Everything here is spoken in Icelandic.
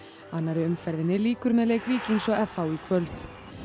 annarri umferð lýkur með leik Víkings og f h í kvöld